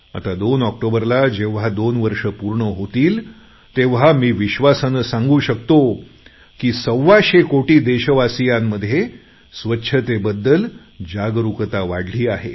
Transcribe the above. आता दोन ऑक्टोबरला जेव्हा दोन वर्षं पूर्ण होतील तेव्हा मी विश्वासाने सांगू शकतो की सव्वाशे कोटी देशवासियांमध्ये स्वच्छतेबद्दल जागरूकता वाढली आहे